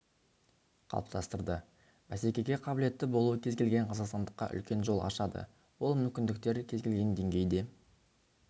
қалыптастырды бәсекеге қабілетті болу кез келген қазақстандыққа үлкен жол ашады ол мүмкіндіктер кез келген деңгейде